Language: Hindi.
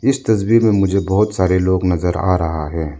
इस तस्वीर में मुझे बहोत सारे लोग नजर आ रहा है।